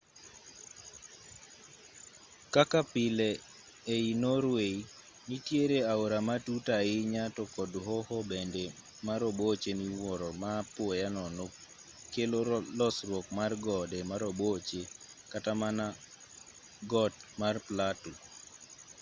kaka pile ei norway nitiere aore matut ahinya to kod hoho bende maroboche miwuoro ma apoya nono kelo losruok mar gode maroboche kata mana got mar platu